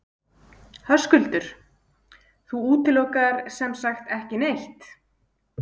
Höskuldur: Þú útilokar sem sagt ekki neitt?